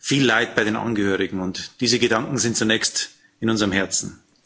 Viel Leid bei den Angehörigen, und diese Gedanken sind zunächst in unserem Herzen.